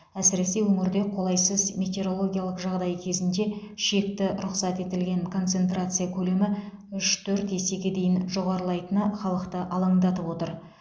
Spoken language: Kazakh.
әсіресе өңірде қолайсыз метеорологиялық жағдай кезінде шекті рұқсат етілген концентрация көлемі үш төрт есеге дейін жоғарылайтыны халықты алаңдатып отыр